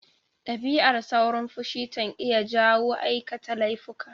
Dabi'ar saurin fushi tanq iya jawo aikata laifuka.